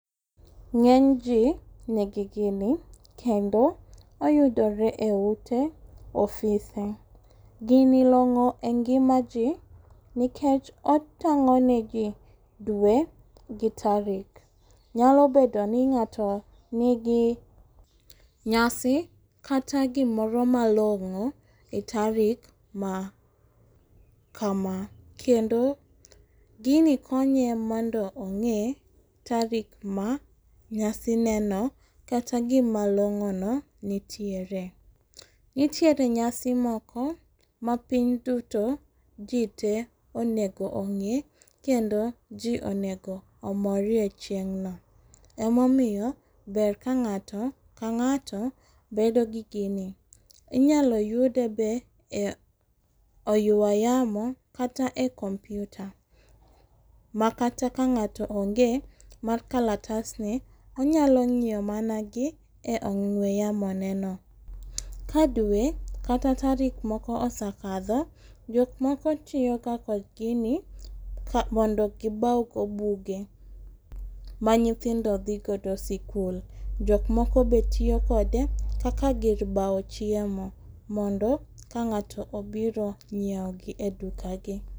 Ng'enyji nigi gini kendo oyudore eote ofise. Gini long'o engimaji nikech otang'oneji dwe gi tarik. Nyalo bedo ni ng'ato nigi nyasi kata gimoro malong'o etarik ma kama. Kendo gini konye mondo ong'e tarik ma nyasineno kata gima long'ono nitiere. Nitiere nyasi moko ma piny duto jitee onego ong'e kendo ji onego omore chieng'no .Ema omiyo ber ka ng'ato ka ng'ato bedo gi gini. Inyalo yude be e oywa yamo kata e computer. Makata ka ng'ato onge mar kalatsni anyalo ng'iyo mana gi e ong'we yamoneno. Ka dwe kata tarik moko osekadho, jok moko tiyoga kod gini mondo gibawgo buge ma nyithindo dhi godo sikul. jok moko be tiyo kode kaka gir bawo chiemo mondo ka ng'ato obiro nyiewogi edukagi.